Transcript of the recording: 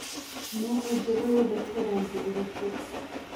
no ũjĩire wendete rangĩ ũrĩkũ